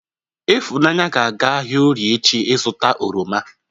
Ifunanya ga-aga ahia Orie echi izuta oroma.